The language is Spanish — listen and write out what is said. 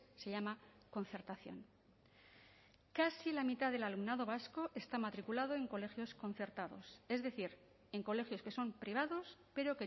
se llama concertación casi la mitad del alumnado vasco está matriculado en colegios concertados es decir en colegios que son privados pero